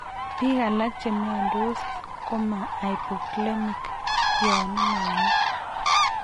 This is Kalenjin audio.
Biik alak chemiondos koma hypokalemic yoon inome